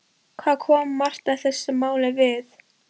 Hvað kom Marta þessu máli við?